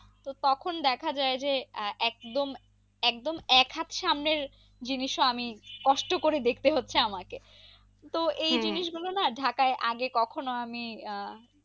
তো তখন দেখা যাই যে একদম একদম এক হাতে সামনের জিনিসও আমি কষ্ট করে দেখতে হচ্ছে আমাকে তো গুলো না ঢাকায় আগে কখনো আমি আহ